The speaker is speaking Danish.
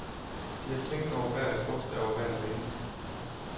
De har tænkt over hvert et bogstav og hver en vending.